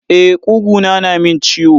E, kuguna na min ciwo.